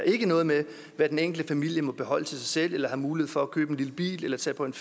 ikke noget med hvad den enkelte familie må beholde til sig selv eller have mulighed for at købe en lille bil eller tage på en